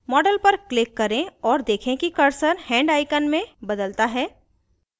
model पर click करें और देखें कि cursor hand icon में बदलता है